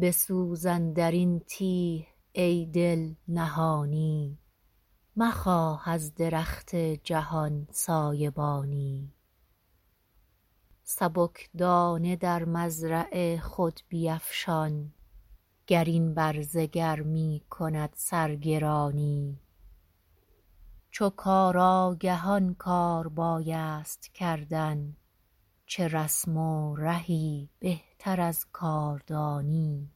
بسوز اندرین تیه ای دل نهانی مخواه از درخت جهان سایبانی سبکدانه در مزرع خود بیفشان گر این برزگر میکند سرگرانی چو کار آگهان کار بایست کردن چه رسم و رهی بهتر از کاردانی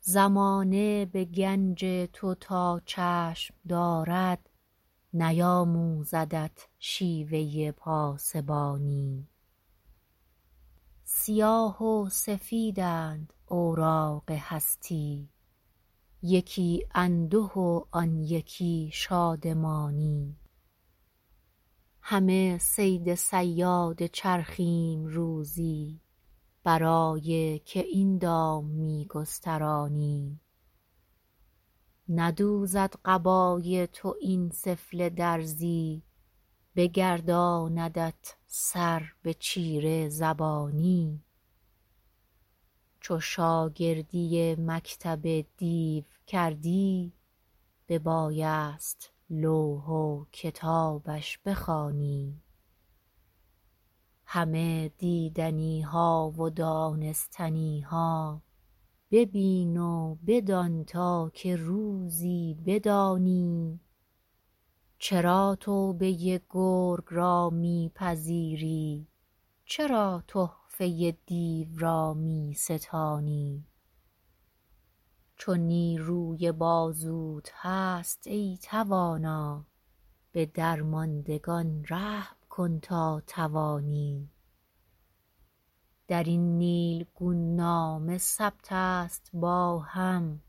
زمانه به گنج تو تا چشم دارد نیاموزدت شیوه پاسبانی سیاه و سفیدند اوراق هستی یکی انده و آن یکی شادمانی همه صید صیاد چرخیم روزی برای که این دام میگسترانی ندوزد قبای تو این سفله درزی بگرداندت سر به چیره زبانی چو شاگردی مکتب دیو کردی ببایست لوح و کتابش بخوانی همه دیدنیها و دانستنیها ببین و بدان تا که روزی بدانی چرا توبه گرگ را میپذیری چرا تحفه دیو را میستانی چو نیروی بازوت هست ای توانا بدرماندگان رحم کن تا توانی درین نیلگون نامه ثبت است با هم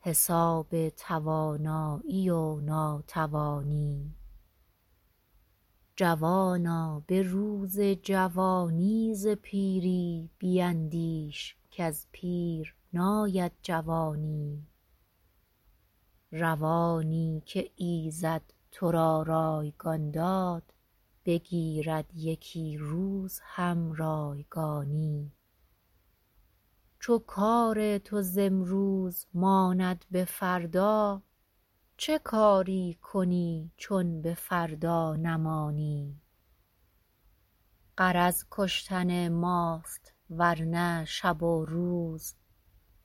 حساب توانایی و ناتوانی جوانا بروز جوانی ز پیری بیندیش کز پیر ناید جوانی روانی که ایزد ترا رایگان داد بگیرد یکی روز هم رایگانی چو کار تو ز امروز ماند بفردا چه کاری کنی چون بفردا نمانی غرض کشتن ماست ورنه شب و روز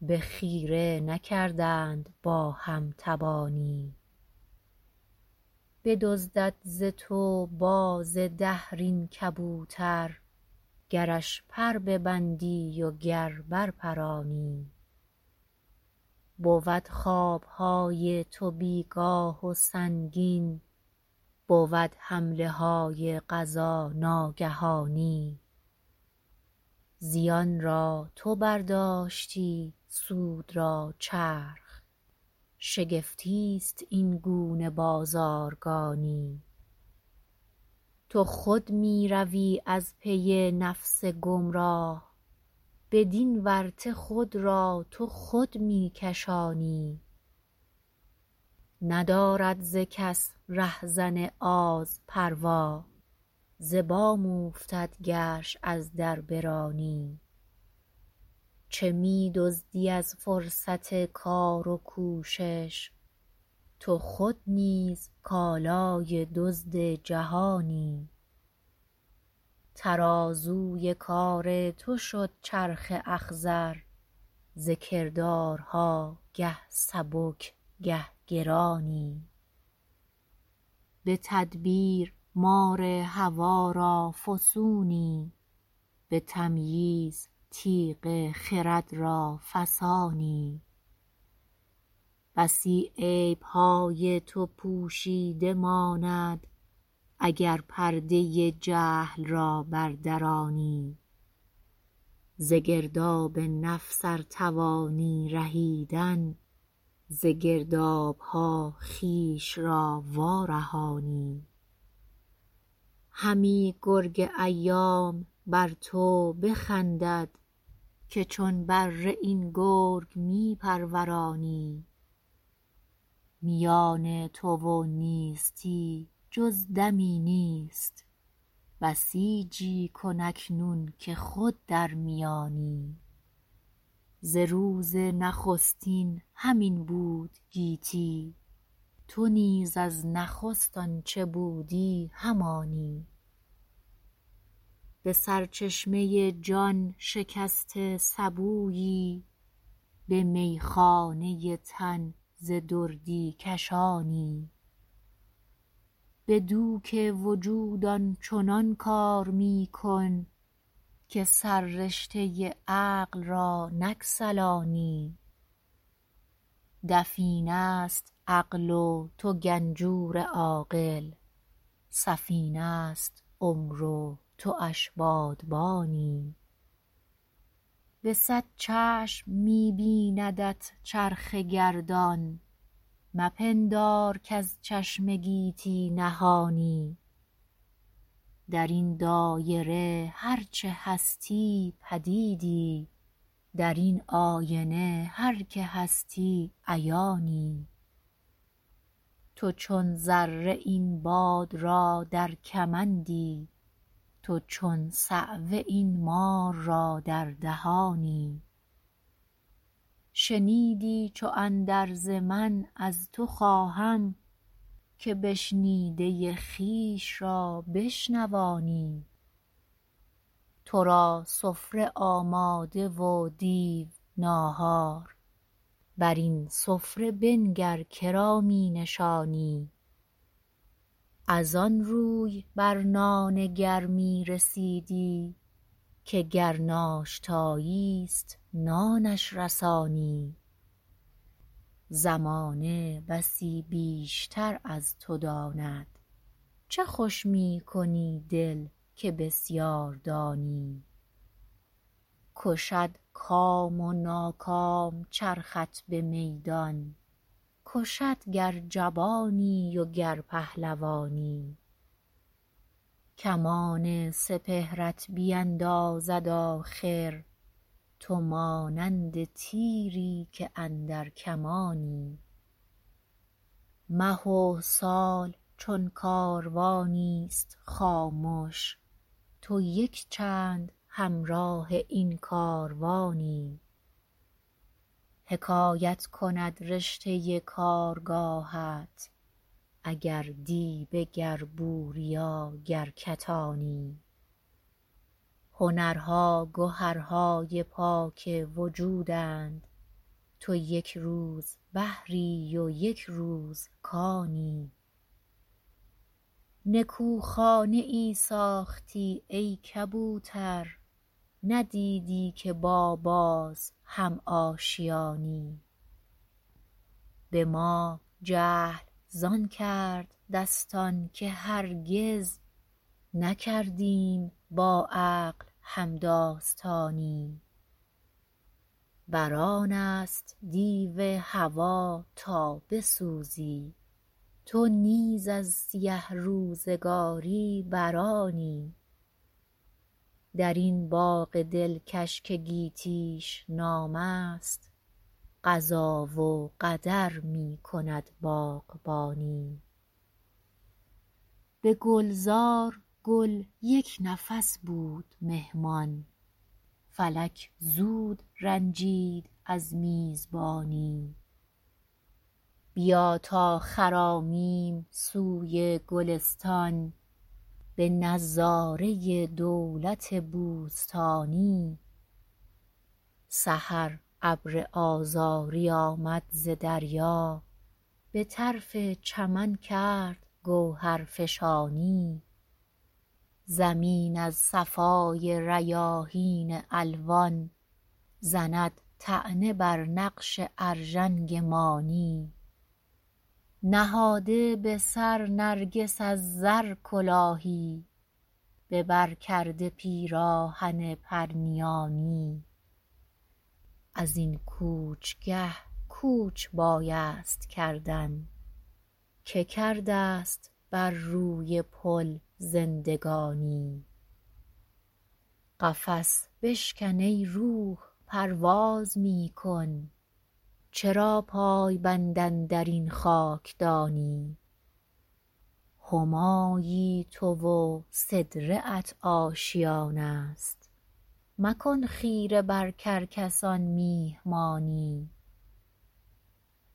بخیره نکردند با هم تبانی بدزدد ز تو باز دهر این کبوتر گرش پر ببندی و گر برپرانی بود خوابهای تو بیگاه و سنگین بود حمله های قضا ناگهانی زیان را تو برداشتی سود را چرخ شگفتی است این گونه بازارگانی تو خود میروی از پی نفس گمراه بدین ورطه خود را تو خود میکشانی ندارد ز کس رهزن آز پروا ز بام اوفتد گرش از در برانی چه میدزدی از فرصت کار و کوشش تو خود نیز کالای دزد جهانی ترازوی کار تو شد چرخ اخضر ز کردارها گه سبک گه گرانی بتدبیر مار هوی را فسونی به تمییز تیغ خرد را فسانی بسی عیبهای تو پوشیده ماند اگر پرده جهل را بردرانی ز گرداب نفس ارتوانی رهیدن ز گردابها خویش را وارهانی همی گرگ ایام بر تو بخندد که چون بره این گرگ میپرورانی میان تو و نیستی جز دمی نیست بسیجی کن اکنون که خود در میانی ز روز نخستین همین بود گیتی تو نیز از نخست آنچه بودی همانی به سرچشمه جان شکسته سبویی به میخانه تن ز دردی کشانی بدوک وجود آنچنان کار میکن که سر رشته عقل را نگسلانی دفینه است عقل و تو گنجور عاقل سفینه است عمر و تواش بادبانی بصد چشم می بیندت چرخ گردان مپندار کاز چشم گیتی نهانی درین دایره هر چه هستی پدیدی درین آینه هر که هستی عیانی تو چون ذره این باد را در کمندی تو چو صعوه این مار را در دهانی شنیدی چو اندرز من از تو خواهم که بشنیده خویش را بشنوانی ترا سفره آماده و دیو ناهار بر این سفره بنگر کرا مینشانی از آن روز برنان گرمی رسیدی که گر ناشتاییست نانش رسانی زمانه بسی بیشتر از تو داند چه خوش میکنی دل که بسیار دانی کشد کام و ناکام چرخت بمیدان کشد گر جبانی و گر پهلوانی کمان سپهرت بیندازد آخر تو مانند تیری که اندر کمانی مه و سال چون کاروانیست خامش تو یکچند همراه این کاروانی حکایت کند رشته کارگاهت اگر دیبه گر بوریا گر کتانی هنرها گهرهای پاک وجودند تو یکروز بحری و یکروز کانی نکو خانه ای ساختی ای کبوتر ندیدی که با باز هم آشیانی بما جهل زان کرد دستان که هرگز نکردیم با عقل همداستانی برآنست دیو هوی تا بسوزی تو نیز از سیه روزگاری برآنی در این باغ دلکش که گیتیش نامست قضا و قدر میکند باغبانی بگلزار گل یک نفس بود مهمان فلک زود رنجید از میزبانی بیا تا خرامیم سوی گلستان بنظاره دولت بوستانی سحر ابر آذاری آمد ز دریا بطرف چمن کرد گوهر فشانی زمین از صفای ریاحین الوان زند طعنه بر نقش ارژنگ مانی نهاده بسر نرگس از زر کلاهی ببر کرده پیراهن پرنیانی ازین کوچگه کوچ بایست کردن که کردست بر روی پل زندگانی قفس بشکن ای روح پرواز میکن چرا پایبند اندرین خاکدانی همایی تو و سدره ات آشیانست مکن خیره بر کرکسان میهمانی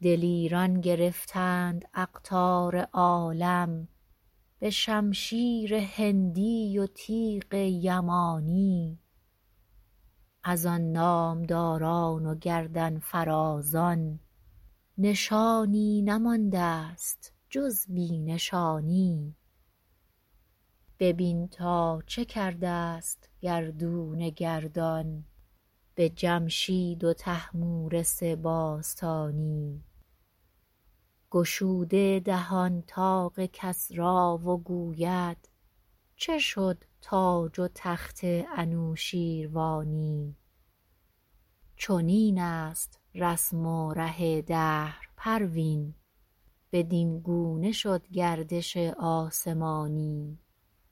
دلیران گرفتند اقطار عالم بشمشیر هندی و تیغ یمانی از آن نامداران و گردنفرازان نشانی نماندست جز بی نشانی ببین تا چه کردست گردون گردان به جمشید و طهمورث باستانی گشوده دهان طاق کسری و گوید چه شد تاج و تخت انوشیروانی چنین است رسم و ره دهر پروین بدینگونه شد گردش آسمانی